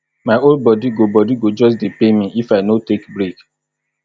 my whole bodi go bodi go just dey pain me if i no take break